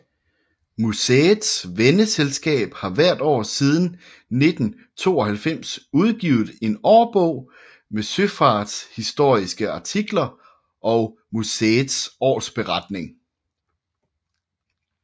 Museets venneselskab har hvert år siden 1942 udgivet en årbog med søfartshistoriske artikler og museets årsberetning